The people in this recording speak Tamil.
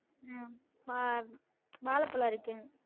உம் வா~ வாழப்பழம் இருக்குங்க